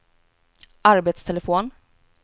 arbetstelefon